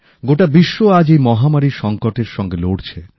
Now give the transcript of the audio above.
গোটা বিশ্ব আজ এই মহামারীর সংকটের সাথে লড়ছে